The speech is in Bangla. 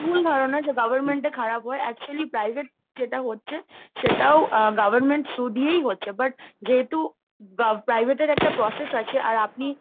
ভুল ধারণা যে government এ খারাপ হয়, actually private এ যেটা হচ্ছে সেটাও government through দিয়েই হচ্ছে but যেহেতু পা ~ private এর একটা process আছে আর আপনি,